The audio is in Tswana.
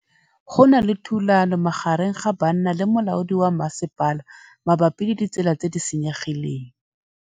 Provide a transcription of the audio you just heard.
Go na le thulanô magareng ga banna le molaodi wa masepala mabapi le ditsela tse di senyegileng.